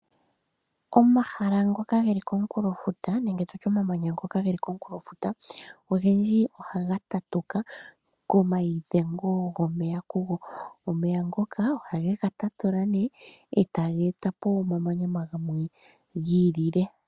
Omahala ngoka ge li komunkulofuta nenge omamanya ngoka ge li komunkulofuta ogendji ohaga tatuka komaidhengo gomeya kugo. Omaidhengo ngoka ohage ga tatula e taga eta po omamanya gamwe gi ilile.